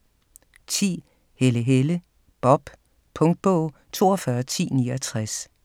10. Helle, Helle: Bob Punktbog 421069